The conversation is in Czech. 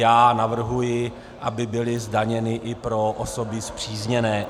Já navrhuji, aby byly zdaněny i pro osoby spřízněné.